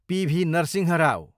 PV. Narasimha Rao